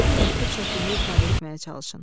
Fikrinizi məktub şəklində ifadə etməyə çalışın.